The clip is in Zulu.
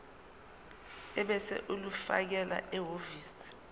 ebese ulifakela ehhovisi